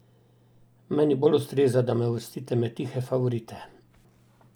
Meni bolj ustreza, da me uvrstite med tihe favorite.